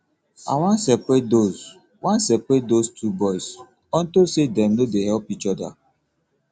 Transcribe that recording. i wan seperate those wan seperate those two boys unto say dey no dey help each other